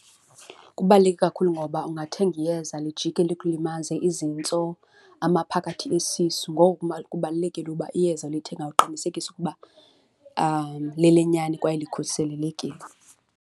Kubaluleke kakhulu ngoba ungathenga iyeza lijikile ikulimaze izintso, amaphakathi esisu. Ngoko ke kubalulekile uba iyeza olithengayo uqinisekise ukuba lelenyani kwaye likhuselelekile.